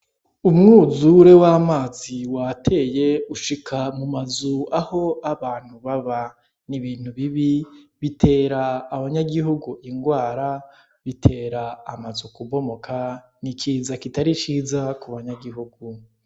Umwuzure w'amazi wateye ushika mu mazu aho abantu baba, ni ibintu bibi bitera abanyagihugu ingwara, bitera amazu kubomoka, ni ikiza kitari ciza ku banyagihugu.